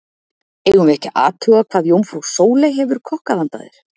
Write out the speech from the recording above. Eigum við ekki að athuga hvað jómfrú Sóley hefur kokkað handa þér.